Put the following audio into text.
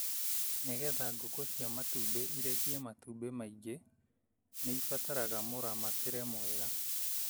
Nĩ getha ngũkũ cia matumbĩ irekie matumbĩ maingĩ nĩibataraga mũramatĩre mwega.